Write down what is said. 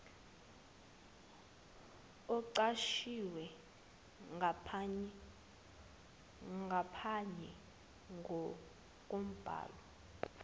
oqoshiwe ngaphanye kombhalo